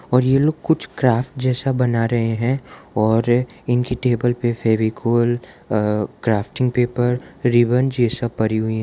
और ये लोग कुछ क्राफ्ट जैसा बना रहे हैं और इनकी टेबल पे फेविकोल अ क्राफ्टिंग पेपर रिबन ये सब पड़ी हुई हैं।